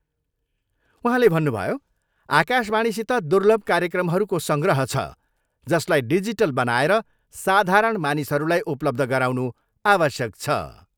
उहाँले भनुभयो, आकाशवाणीसित दुर्लभ कार्यक्रमहरूको सङ्ग्रह छ, जसलाई डिजिटल बनाएर साधारण मानिसहरूलाई उपलब्ध गराउनु आवश्यक छ।